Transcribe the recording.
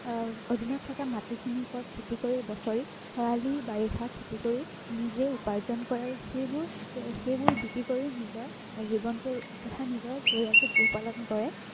আহ অধীনত থকা মাটিখিনিৰ ওপৰত খেতি কৰি বছৰি খৰালি বাৰিষা খেতি কৰি নিজে উপাৰ্জন কৰে আৰু সেইবোৰ বিক্ৰী কৰি